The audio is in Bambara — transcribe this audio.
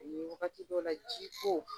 O ni wagati dɔw la ji ko.